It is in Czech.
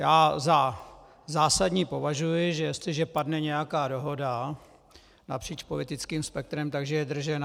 Já za zásadní považuji, že jestliže padne nějaká dohoda napříč politickým spektrem, takže je držena.